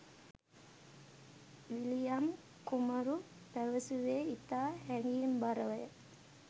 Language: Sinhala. විලියම් කුමරු පැවැසුවේ ඉතා හැඟීම්බරවය